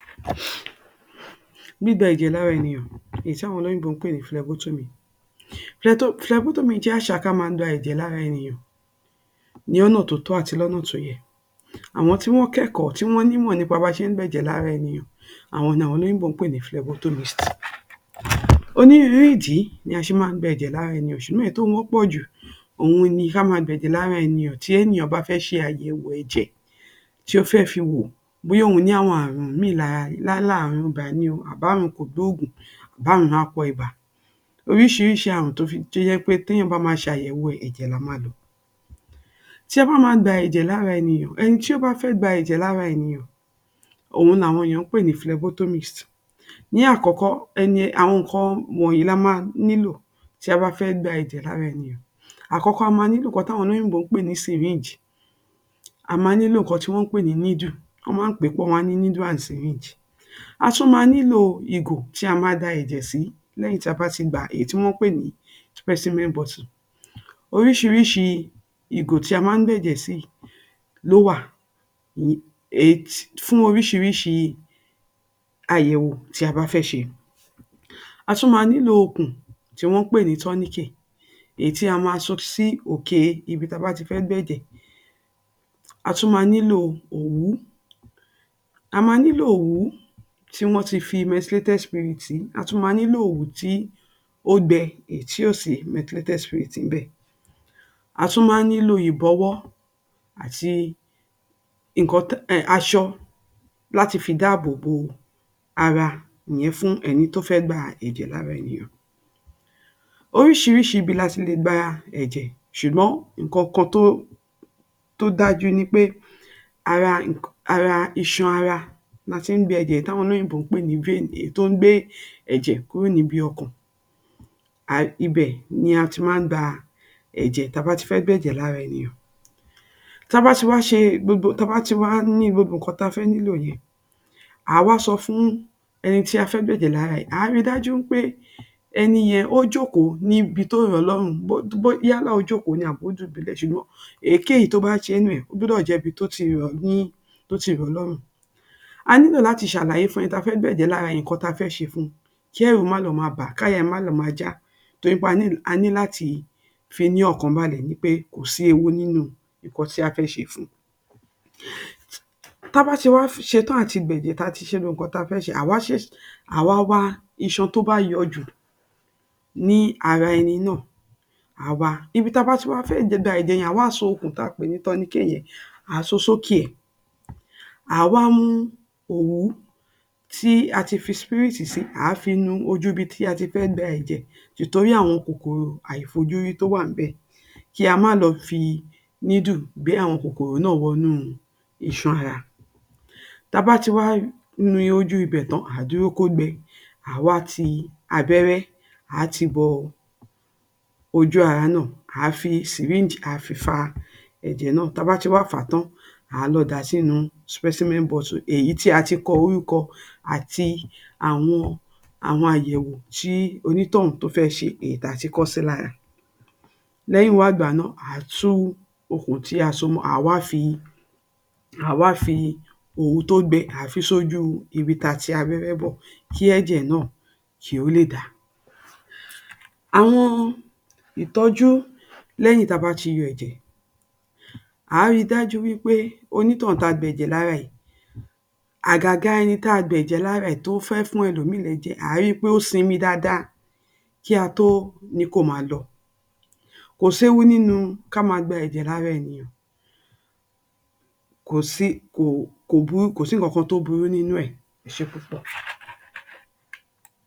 Gbígba ẹ̀jẹ̀ lára ènìyàn tí àwọn olóyìnbó ń pè ní phlebotomy. phlebotomy jẹ́ àṣà ká mà gba ẹ̀jẹ̀ lára ènìyàn lọ́nà tótọ́ àti lọ́nà tó yẹ. Àwọn tí wọn kẹ́kọ̀ọ́ tí wọ́n nímọ̀ tó yẹ lóri bí a ṣe ń gbẹ̀jẹ̀ lára ènìyàn àwọn ni àwọn olóyìbó ń pè ni phlebotomist. Onírúurú ìdí ni a ṣe máa ń gba ẹ̀jẹ̀ lára ènìyàn, ṣùgbọ́n èyí tó wọ́pọ̀ jù ohun ni kí a máa gbẹ̀jẹ̀ lára ènìyàn tí ènìyàn bá fẹ́ ṣe àyẹ̀wò ẹ̀jẹ̀ tí wọn fẹ́ fi wo bí òun ní àwọn ààrùn míràn lára. Bí àárùn ibà ni o tàbí ààrùn kògbóóògùn tàbí ààrùn akọ ibà. Oríṣiríṣi ààrùn tí o fi jẹ́ pé tí ènìyàn bá máa ṣe àyẹ̀wo, ẹ̀jẹ̀ la máa lò. Tí a bá máa gba ẹ̀jẹ̀ lára ènìyàn, ẹni tó bá fẹ́ gba ẹ̀jẹ̀ lára ènìyàn òun ni àwọn ènìyàn ń pè ní phlebotomist. Ní àkọ́kọ́ eni yẹn àwọn kan nǹkan wọ̀nyí la máa nílò tí a bá fẹ gba ẹ̀jẹ̀ lára ènìyàn. Àkọ́kọ́ a máa nílò nǹkan tí àwọn olóyìnbó ń pè ní syringe, a máa nílò nǹkan tí wọn ń pè ní niddle, wọ́n máa n pè wọ́n á ní niddle and syringe. A tún máa nílò ìgò tí a máa lò láti da ẹ̀jẹ̀ sí lẹ́yìn ìgbà tá a bá ti gbà á èyí tí wọn ń pè ní dispensing bowls. Oríṣiríṣi ìgò tí a máa ń gbẹ̀jẹ̀ sí ló wà fún oríṣiríṣi àyẹ̀wò tí a bá fẹ́ ṣe. A tún máa nílò okún tí wọn pè ní toniquet èyí tí a máa so sí òke ibi tí a bá ti fẹ́ gbẹ̀jẹ̀. A tún màa nílò òwú, a máa nílò òwú ti wọn ti fi methlated spirit sí, a tún máa nílò òwú tí ó gbẹ tí kò sí methelated spirit níbẹ̀. A tuń máa nílò ìbọwọ́ àti aṣọ láti fi dá ààbò bo ara ìyẹn fún ẹni tó fẹ̀ gba ẹ̀jẹ̀ lára ènìyàn. Oríṣiríṣi ibi ni a le ti gba ẹ̀jẹ̀, ṣùgbọ́n nǹkankan tó tó dájú ni pé ara ara iṣan ara lati ń gba ẹ̀jẹ̀ náà tí àwọn olóyìnbó ń pè ní vein èyí tó ń gbé ẹ̀jẹ̀ kúrò níbi ọkàn. Ibẹ̀ ni a ti máa ń gba ẹ̀jẹ̀ tí a bá ti fẹ́ gbẹ̀jẹ̀ lára èèyàn. Tábá ti wá ṣe tá bá ti wá ní gbogbo nǹkan tí a bá ti nílò yìí a wá sọ fún ẹni tí a fẹ́ gbẹ̀jẹ̀ lára rẹ̀. À a rí i dájù pé ẹni yẹn ó jókòó níbi tó rọ̀ ọ́ lọ́rùn but kí àwa náà jókòó nibi tó kọjú síi. Èyíkéyìí tó ba ti rọ̀ ọ́ lọ́rùn. A nílò láti ṣàlàyé f’ẹ́ni táa fẹ́ gbẹ̀jẹ̀ lára rẹ̀ nǹkan tí a fẹ́ ṣe fún un kí ẹ̀rù má baà máa bà á káyà ẹ má lọ máa já. Torí a ni láti fi í ní ọkànbalẹ̀ torí wí pé kò sí ewu nínú nǹkan tí a fẹ́ ṣe fún un. Tá a bá wá ti wá ṣetań àti gbẹ̀jẹ̀ tá a ti ṣe gbogbo nǹkan tí a bá fẹ́ ṣe àá wá wá iṣan tó ba yọ jù ní ara ẹni náa àá wá a. Ibi táa bá ti wá fẹ́ gba ẹ̀jẹ̀ yẹn a wá so okùn táa pè ni tonicane cs yẹn à á so ó sókè ẹ̀ àá wa mú òwú tí a ti fi spirit sí àá fi nu ibi tí a ti fẹ́ gba ẹ̀jẹ̀. Ìtorò àwọn kòkòrò àìfojúrí tó wà níbẹ̀. Kí a ma lọ fi niddle gbe àwọn kòkòrò náà wọnù iṣan ara. Tí a bá ti wá nu ojú ibẹ̀ tán, à wá jẹ́ kó gbẹ àá wá ti abẹ́rẹ́ a tibọ tí ojú ara náà, a fi syringe fa ẹ̀jẹ̀ náà. Tí a ba ti wá fà á tán a máa dà á sínú n specimen bowl èyí tí a ti kọ orúkọ àti àwọn àwọn àyẹ̀wò tí tí onítọ̀hún fẹ́ ṣe a ti kọ ọ́ sí i lára. Lẹ́yìn ìgbà náà àá tú okùn tí a so mọ́ ọn, àá wá fi òwú tó gbẹ àá wá fi sójú abẹ́rẹ́ náà kí ẹ̀jẹ̀ náà kó lè dá. Àwọn ìtọ́jú lẹ́yìn tí a bá ti gbẹ̀jẹ̀ àá ríi dájú wí pé onítọhún tí a gba ẹ̀jẹ̀ lára ẹ̀, àgàgà ẹni táa gbẹ̀jẹ̀ lára rẹ̀ tó ń fẹ́ fún ẹlòmíì lẹ́jẹ̀ àá rí i pé ó sinmi dáadáa kí a tó ní kó máa lọ. Kò séwu nínú káa máa gbẹ̀jẹ̀ lára èèyàn. Kò sí kò sí nǹkankan tó burú nínú ẹ̀. Ẹ ṣe púpọ̀.